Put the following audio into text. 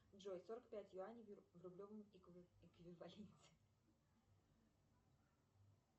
джой сорок пять юаней в рублевом эквиваленте